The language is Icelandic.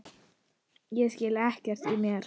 Ég skil ekkert í mér